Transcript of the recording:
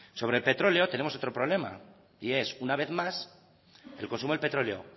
sobre el petróleo tenemos otro problema y es una vez más el consumo del petróleo